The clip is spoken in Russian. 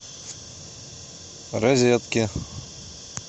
розетки